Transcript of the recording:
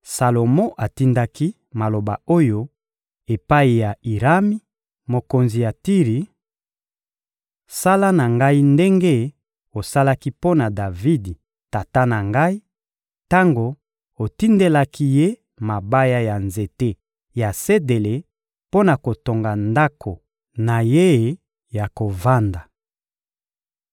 Salomo atindaki maloba oyo epai ya Irami, mokonzi ya Tiri: — Sala na ngai ndenge osalaki mpo na Davidi, tata na ngai, tango otindelaki ye mabaya ya nzete ya sedele mpo na kotonga ndako na ye ya kovanda.